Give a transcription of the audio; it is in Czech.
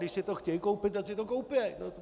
Když si to chtějí koupit, ať si to koupěj!